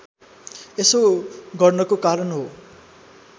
यसो गर्नको कारण हो